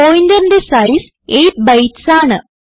പോയിന്ററിന്റെ size 8 bytes ആണ്